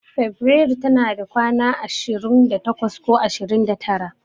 Febirairu tana da kwana ashirin da takwas ko ashirin da tara.